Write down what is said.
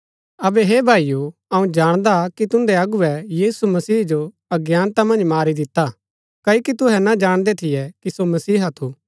अबै हे भाईओ अऊँ जाणदा कि तुन्दै अगुवै यीशु मसीह जो अज्ञानता मन्ज मारी दिता क्ओकि तुहै ना जाणदै थियै कि सो मसीहा थू